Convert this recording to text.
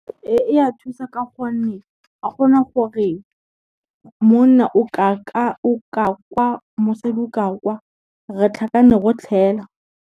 Ee e ya thusa ka gonne ga go na gore, monna o ka kwa, mosadi o ka kwa re tlhakane rotlhe fela.